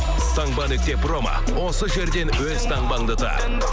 промо осы жерден өз таңбаңды тап